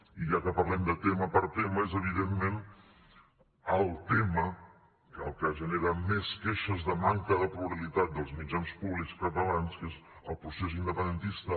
i ja que parlem de tema per tema és evidentment el tema el que genera més queixes de manca de pluralitat dels mitjans públics catalans que és el procés independentista